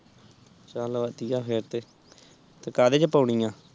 ਚਾਲ ਵਧੀਆ ਫੇਰ ਤੇ ਤੇ ਕਦੇ ਚ ਪਾਉਣੀ ਆ